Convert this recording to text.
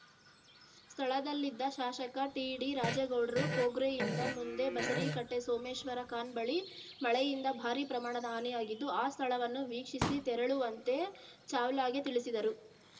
ಸ್ಥಳದಲ್ಲಿದ್ದ ಶಾಸಕ ಟಿಡಿರಾಜೇಗೌಡರು ಕೊಗ್ರೆಯಿಂದ ಮುಂದೆ ಬಸರೀಕಟ್ಟೆಸೋಮೇಶ್ವರಖಾನ್‌ ಬಳಿ ಮಳೆಯಿಂದ ಭಾರಿ ಪ್ರಮಾಣದ ಹಾನಿಯಾಗಿದ್ದು ಆ ಸ್ಥಳವನ್ನು ವೀಕ್ಷಿಸಿ ತೆರಳುವಂತೆ ಚಾವ್ಲಾಗೆ ತಿಳಿಸಿದರು